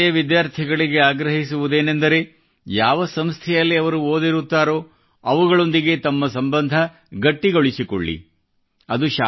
ನಾನು ಪೂರ್ವ ವಿದ್ಯಾರ್ಥಿಗಳಿಗೆ ಆಗ್ರಹಿಸುವುದೇನಂದರೆ ಯಾವ ಸಂಸ್ಥೆಯಲ್ಲಿ ಅವರು ಓದಿರುತ್ತಾರೋ ಅವುಗಳೊಂದಿಗೆ ತಮ್ಮ ಸಂಬಂಧ ಗಟ್ಟಿಗೊಳಿಸಿಕೊಳ್ಳಿರಿ